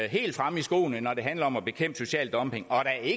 helt fremme i skoene når det handler om at bekæmpe social dumping